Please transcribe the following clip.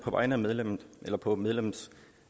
vegne af medlemmet på på medlemmets